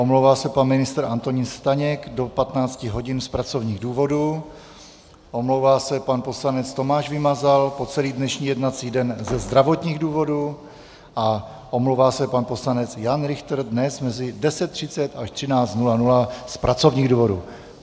Omlouvá se pan ministr Antonín Staněk do 15 hodin z pracovních důvodů, omlouvá se pan poslanec Tomáš Vymazal po celý dnešní jednací den ze zdravotních důvodů a omlouvá se pan poslanec Jan Richter dnes mezi 10.30 až 13.00 z pracovních důvodů.